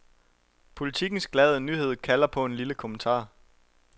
Politikens glade nyhed kalder på en lille kommentar.